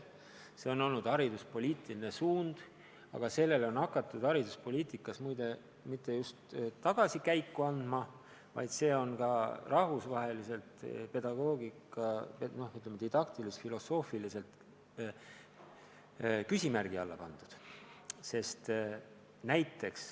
See on olnud hariduspoliitiline suund, aga sellele on hakatud mitte just tagasikäiku andma, aga see on ka rahvusvaheliselt pedagoogikas didaktilis-filosoofiliselt küsimärgi alla pandud.